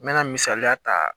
N mɛna misaliya ta